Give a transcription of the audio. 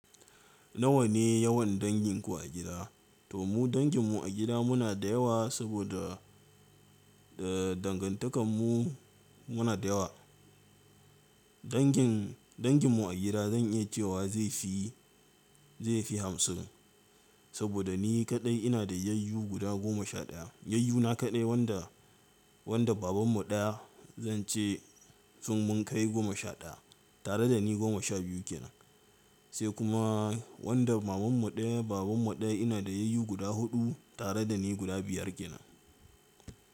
Nawa ne yawan danginku a gida? To mu dangin mu a gida muna da yawa saboda dangantakarmu muna da yawa. Dangin, dangin mu a gida zan iya cewa zai fi, zai fi hamsin. Saboda ni kaɗai ina da yayyu guda goma sha ɗaya. Yayyu na kaɗai wanda, wanda baban mu ɗaya zan ce sun mun kai goma sha ɗaya tare da ni goma sha biyu kenan. Sai kuma wanda maman mu ɗaya, baban mu ɗaya ina da yayyu guda huɗu tare da ni guda biyar kenan.